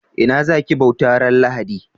Ina za ki bauta ran lahadi?